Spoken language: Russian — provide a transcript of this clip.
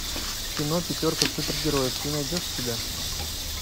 кино пятерка супергероев ты найдешь у себя